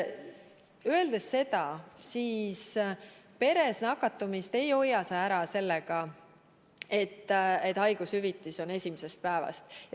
Seega, peres nakatumist ei saa hoida ära sellega, et haigushüvitist makstakse esimesest päevast.